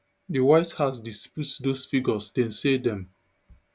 di white house disputes those figures dem say dem